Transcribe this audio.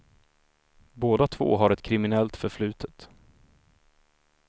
Båda två har ett kriminellt förflutet.